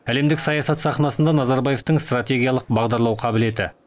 әлемдік саясат сахнасында назарбаевтың стратегиялық бағдарлау қабілеті